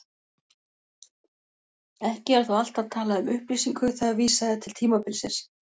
Ekki er þó alltaf talað um upplýsingu þegar vísað er til tímabilsins.